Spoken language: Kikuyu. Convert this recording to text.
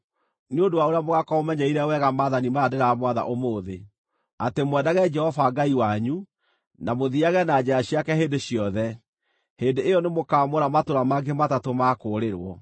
nĩ ũndũ wa ũrĩa mũgaakorwo mũmenyereire wega maathani maya ndĩramwatha ũmũthĩ, atĩ mwendage Jehova Ngai wanyu, na mũthiage na njĩra ciake hĩndĩ ciothe, hĩndĩ ĩyo nĩmũkamũra matũũra mangĩ matatũ ma kũũrĩrwo.